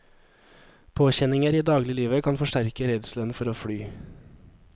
Påkjenninger i dagliglivet kan forsterke redselen for å fly.